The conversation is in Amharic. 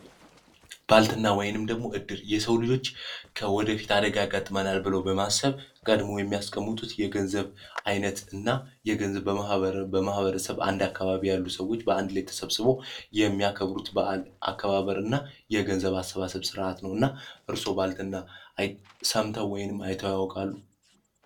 ባልትና ወይንም ደግሞ እድር የሰው ልጆች ከወደፊት አደጋ ቀጥሎ በማሰብ ቀድሞ የሚያስቀምጡት የገንዘብ አይነት እና የገንዘብ በማህበረ በማህበረሰብ አንድ አካባቢ ያሉ ሰዎች በአንድ ላይ ተሰብስቦ የሚያከብሩት በዓል አከባበርና የገንዘብ አሰባሰብ ስርዓት ነው እና እርሶ ባልትና ወይንም አይቶ ያውቃሉ